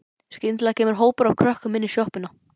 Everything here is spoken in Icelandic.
Skyndilega kemur hópur af krökkum inn í sjoppuna.